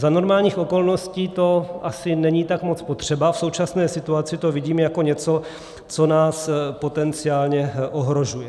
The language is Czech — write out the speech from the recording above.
Za normálních okolností to asi není tak moc potřeba, v současné situaci to vidím jako něco, co nás potenciálně ohrožuje.